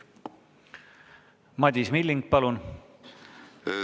Madis Milling, palun!